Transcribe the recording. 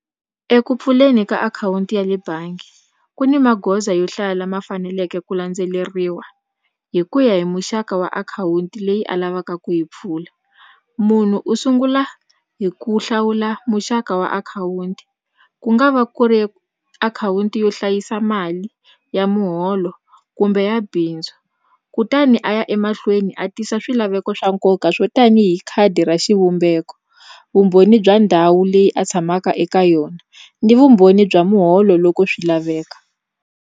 Eku pfuleni ka akhawunti ya le bangi ku ni magoza yo hlaya lama faneleke ku landzeleriwa hi ku ya hi muxaka wa akhawunti leyi a lavaka ku yi pfula munhu u sungula hi ku hlawula muxaka wa akhawunti ku nga va ku ri akhawunti yo hlayisa mali ya muholo kumbe ya bindzu kutani a ya emahlweni a tisa swilaveko swa nkoka swo tanihi khadi ra xivumbeko vumbhoni bya ndhawu leyi a tshamaka eka yona ni vumbhoni bya muholo loko swi laveka.